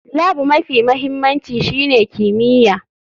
Lab mafi mahimmanci shine kimiyya.